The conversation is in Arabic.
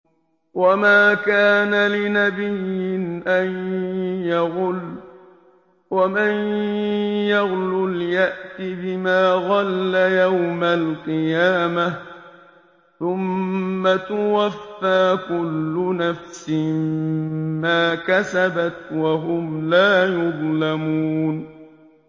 وَمَا كَانَ لِنَبِيٍّ أَن يَغُلَّ ۚ وَمَن يَغْلُلْ يَأْتِ بِمَا غَلَّ يَوْمَ الْقِيَامَةِ ۚ ثُمَّ تُوَفَّىٰ كُلُّ نَفْسٍ مَّا كَسَبَتْ وَهُمْ لَا يُظْلَمُونَ